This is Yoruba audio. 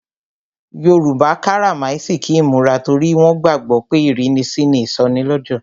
Yoruba karamasiki imura torí wọn gbàgbó pé ìrínisí ni ìsọnilọ́jọ̀.